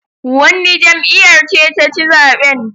Wanne jam'iyar ce ta ci zaben